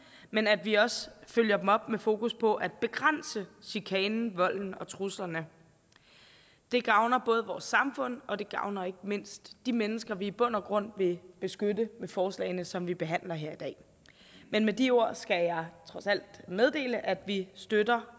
men at vi også følger dem op med fokus på at begrænse chikanen volden og truslerne det gavner både vores samfund og det gavner ikke mindst de mennesker vi i bund og grund vil beskytte med forslagene som vi behandler her i dag men med de ord skal jeg trods alt meddele at vi støtter